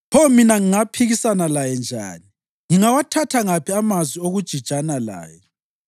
Pho mina ngingaphikisana laye njani? Ngingawathatha ngaphi amazwi okujijana laye?